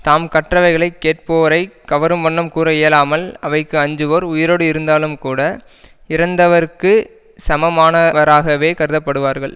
தாம் கற்றவைகளை கேட்போரை கவரும் வண்ணம் கூற இயலாமல் அவைக்கு அஞ்சுவோர் உயிரோடு இருந்தாலும்கூட இறந்தவருக்குச் சமமானவராகவே கருதப்படுவார்கள்